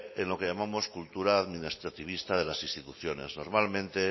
en lo que llamamos cultura administrativista de las instituciones normalmente